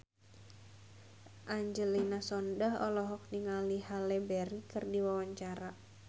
Angelina Sondakh olohok ningali Halle Berry keur diwawancara